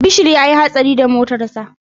Bashir ya yi hatsari da motarsa